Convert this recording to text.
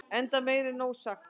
enda meir en nóg sagt